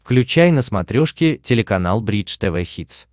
включай на смотрешке телеканал бридж тв хитс